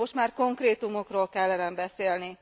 Most már konkrétumokról kellene beszélni.